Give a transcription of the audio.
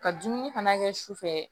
Ka dumuni fana kɛ sufɛ